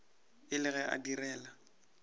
e le ge a direla